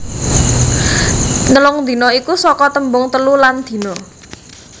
Nelung dina iku saka tembung telu lan dina